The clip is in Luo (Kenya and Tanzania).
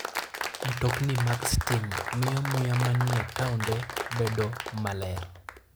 Mtokni mag stima miyo muya manie taonde bedo maler.